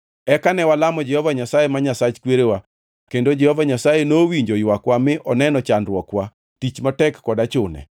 Eka ne walamo Jehova Nyasaye, ma Nyasach kwerewa kendo Jehova Nyasaye nowinjo ywakwa mi oneno chandruokwa, tich matek kod achune.